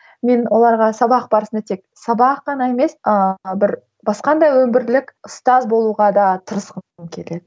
мен оларға сабақ барысында тек сабақ қана емес ыыы бір басқа да өмірлік ұстаз болуға да тырысқым келеді